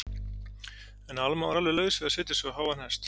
En Alma var alveg laus við að setja sig á háan hest.